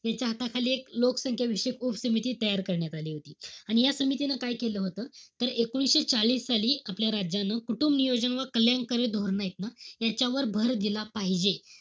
याच्याहाताखाली एक लोकसंख्या विषयक उपसमिती तयार करण्यात आली होती. आणि या समितीनं काय केलं होतं, तर एकोणीशे चाळीस साली, आपल्या राज्यानं, कुटुंबनियोजन व कल्याणकारी धोरणं ए त ना, याच्यावर भर दिला पाहिजे.